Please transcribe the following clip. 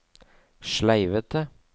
sleivete